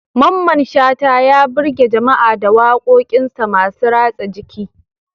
Mamman Shata, ya birge jama'a da wakokinsa masu ratsa jiki.